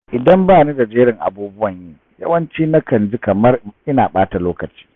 Idan ba ni da jerin abubuwan yi, yawanci na kan ji kamar ina ɓata lokaci.